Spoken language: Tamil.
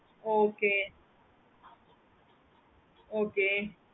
okayokay